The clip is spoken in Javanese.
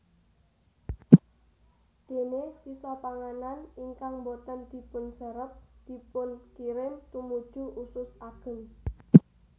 Déné sisa panganan ingkang boten dipunserep dipunkirim tumuju usus ageng